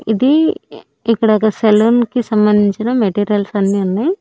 ఇది ఇక్కడ ఒక సెలూన్ కి సంబంధించిన మెటీరియల్స్ అన్ని ఉన్నాయ్.